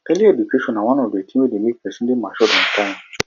early education na one of di things wey de make persin de matured on time